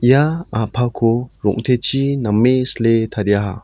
ia a·pako rong·techi name sile tariaha.